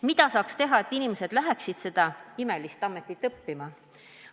Mida saaks teha, et inimesed läheksid seda imelist ametit õppima?